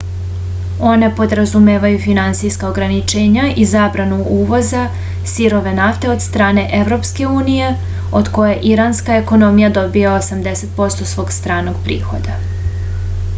one podrazumevaju finansijska ograničenja i zabranu uvoza sirove nafte od strane evropske unije od koje iranska ekonomija dobija 80% svog stranog prihoda